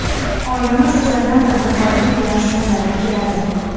Oilamiz azaldan tadbirkorlik bilan shug‘ullanib keladi.